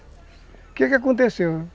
O quê que aconteceu?